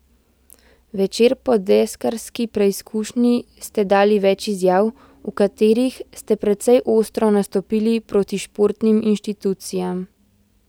Večer po deskarski preizkušnji ste dali več izjav, v katerih ste precej ostro nastopili proti športnim inštitucijam.